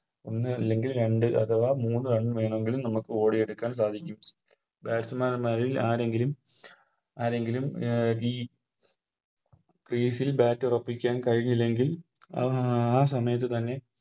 ഒന്ന് അല്ലെങ്കിൽ രണ്ട് അഥവാ മൂന്ന് Run വേണമെങ്കിലും നമുക്ക് ഓടിയെടുക്കാൻ കഴിയും Batsman മാരിൽ ആരെങ്കിലും ആരെങ്കിലും അഹ് Crease ൽ Bat ഉറപ്പിക്കാൻ കഴിഞ്ഞില്ലെങ്കിൽ ആഹ് ആ സമയത്ത് തന്നെ